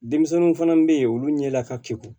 Denmisɛnninw fana bɛ yen olu ɲɛda ka keku